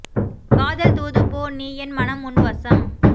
காதல் தூது போ நீ என் மனம் உன் வசம்